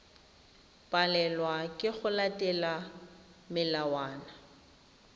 palelwa ke go latela melawana